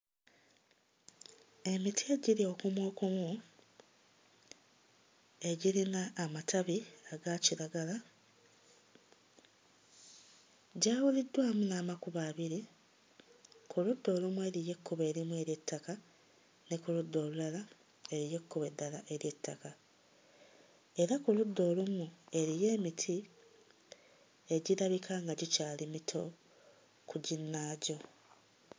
Emiti egiri okumuukumu egirina amatabi aga kiragala gyawuliddwamu n'amakubo abiri; ku ludda olumu eriyo ekkubo erimu ery'ettaka ne ku ludda olulala eriyo ekkubo eddala ery'ettaka era ku ludda olumu eriyo emiti egirabika nga gikyali mito ku ginnaagyo.